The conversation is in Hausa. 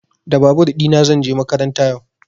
Da babur ɗina zan je makaranta yau.